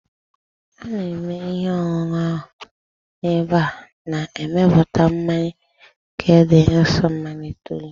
A na-eme ihe ọṅụṅụ ahụ n'ebe a na-emepụta mmanya nke dị nso maịl itoolu